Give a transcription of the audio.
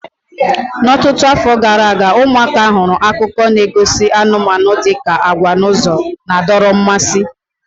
Ọtụtụ afọ gara aga, ụmụaka hụrụ akụkọ na-egosi anụmanụ dị ka agwa n'ụzọ na-adọrọ mmasị.